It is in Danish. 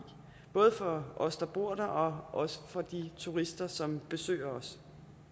både for os der bor der og også for de turister som besøger os